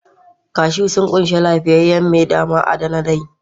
Cashews sun ƙunshi lafiyayyen mai da ma'adanai